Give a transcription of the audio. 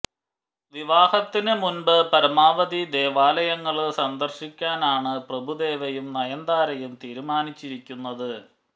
വിവാഹത്തിന് മുമ്പ് പരമാവധി ദേവാലയങ്ങള് സന്ദര്ശിക്കാനാണ് പ്രഭുദേവയും നയന്താരയും തീരുമാനിച്ചിരിക്കുന്നത്